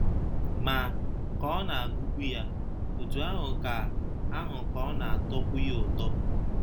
Ma, ka ọ na - agụkwu ya, otú ahụ ka ahụ ka ọ na - atọkwu ya ụtọ.